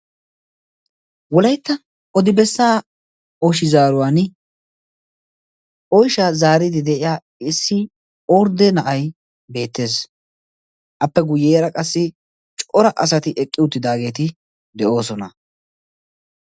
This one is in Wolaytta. wolaytta odibessaa ooshi zaaruwan oyshaa zaaridi de'iya issi ordde na'ay beettees appe guyyeera qassi cora asati eqqi uttidaageeti de'oosona